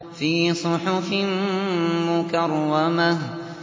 فِي صُحُفٍ مُّكَرَّمَةٍ